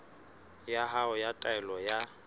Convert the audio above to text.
ya hao ya taelo ya